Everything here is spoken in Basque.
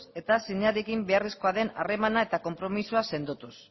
eta beharrezkoa den harremana eta konpromisoa sendotuz